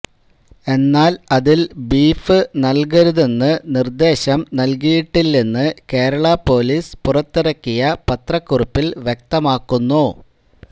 എന്നാൽ അതിൽ ബീഫ് നല്കരുതെന്ന് നിര്ദ്ദേശം നൽകിയിട്ടില്ലെന്ന് കേരള പൊലീസ് പുറത്തിറക്കിയ പത്രകുറുപ്പിൽ വ്യക്തമാക്കുന്നു